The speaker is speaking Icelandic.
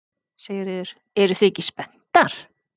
Sigríður: Eruð þið ekki spenntar?